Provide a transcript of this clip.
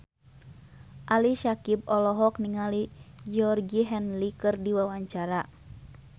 Ali Syakieb olohok ningali Georgie Henley keur diwawancara